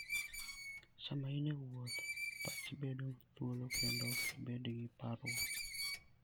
Sama in e wuoth, pachi bedo thuolo kendo ok ibed gi parruok.